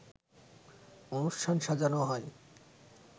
অনুষ্ঠান সাজানো হয়